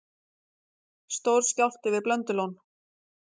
Stór skjálfti við Blöndulón